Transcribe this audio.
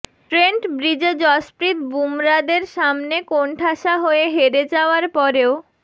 Trent ব্রিজে যশপ্রীত বুমরাদের সামনে কোণঠাসা হয়ে হেরে যাওয়ার পরেও